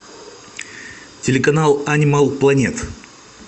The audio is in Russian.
телеканал анимал планет